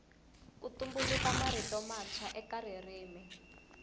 ku tumbuluka mirito matswa eka ririmi